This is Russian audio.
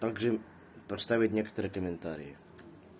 также поставить некоторые комментарии